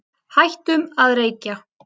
Hættum að reykja.